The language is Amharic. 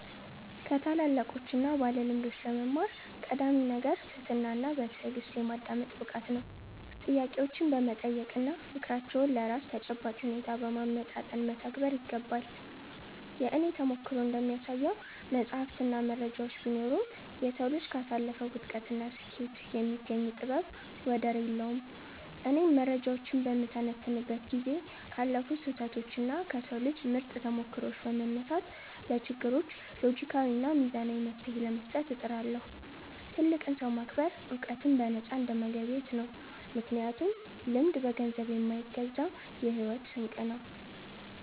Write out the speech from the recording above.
ከታላላቆችና ባለልምዶች ለመማር ቀዳሚው ነገር ትህትናና በትዕግሥት የማዳመጥ ብቃት ነው። ጥያቄዎችን በመጠየቅና ምክራቸውን ለራስ ተጨባጭ ሁኔታ በማመጣጠን መተግበር ይገባል። የእኔ ተሞክሮ እንደሚያሳየው፣ መጻሕፍትና መረጃዎች ቢኖሩም፣ የሰው ልጅ ካሳለፈው ውድቀትና ስኬት የሚገኝ ጥበብ ወደር የለውም። እኔም መረጃዎችን በምተነትንበት ጊዜ ካለፉ ስህተቶችና ከሰው ልጆች ምርጥ ተሞክሮዎች በመነሳት፣ ለችግሮች ሎጂካዊና ሚዛናዊ መፍትሔ ለመስጠት እጥራለሁ። ትልቅን ሰው ማክበር ዕውቀትን በነፃ እንደመገብየት ነው፤ ምክንያቱም ልምድ በገንዘብ የማይገዛ የሕይወት ስንቅ ነው።